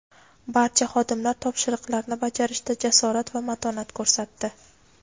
barcha xodimlar topshiriqlarni bajarishda jasorat va matonat ko‘rsatdi.